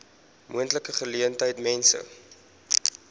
moontlike geleentheid mense